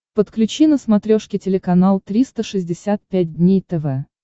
подключи на смотрешке телеканал триста шестьдесят пять дней тв